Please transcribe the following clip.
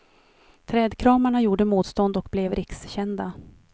Trädkramarna gjorde motstånd och blev rikskända.